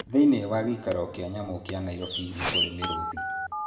Thĩinĩ wa gĩikaro kĩa nyamũ kĩa Nairobi nĩ kũrĩ mĩrũũthi.